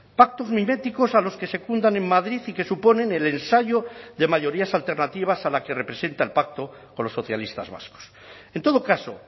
pactos miméticos a los que secundan en madrid y que suponen el ensayo de mayorías alternativas a la que representa el pacto con los socialistas vascos en todo caso